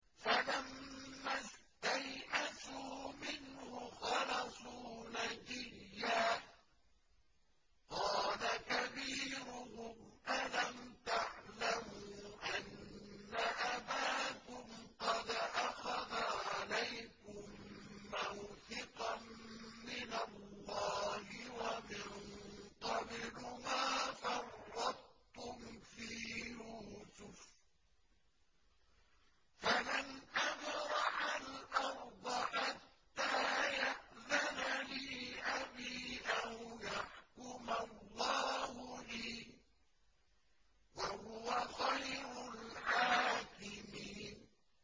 فَلَمَّا اسْتَيْأَسُوا مِنْهُ خَلَصُوا نَجِيًّا ۖ قَالَ كَبِيرُهُمْ أَلَمْ تَعْلَمُوا أَنَّ أَبَاكُمْ قَدْ أَخَذَ عَلَيْكُم مَّوْثِقًا مِّنَ اللَّهِ وَمِن قَبْلُ مَا فَرَّطتُمْ فِي يُوسُفَ ۖ فَلَنْ أَبْرَحَ الْأَرْضَ حَتَّىٰ يَأْذَنَ لِي أَبِي أَوْ يَحْكُمَ اللَّهُ لِي ۖ وَهُوَ خَيْرُ الْحَاكِمِينَ